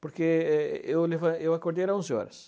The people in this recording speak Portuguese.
Porque é eu levan eu acordei era onze horas.